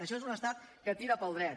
això és un estat que tira pel dret